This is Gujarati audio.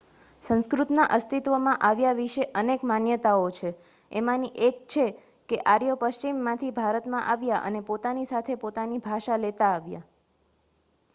સંસ્કૃતના અસ્તિત્વમાં આવ્યા વિશે અનેક માન્યતાઓ છે એમાંની એક છે કે આર્યો પશ્ચિમમાંથી ભારતમાં આવ્યા અને પોતાની સાથે પોતાની ભાષા લેતા આવ્યા